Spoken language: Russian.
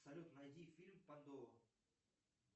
салют найди фильм падо